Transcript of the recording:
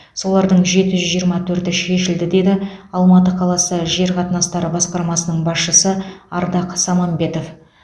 солардың жеті жүз жиырма тһөрті шешілді деді алматы қаласы жер қатынастары басқармасының басшысы ардақ самамбетов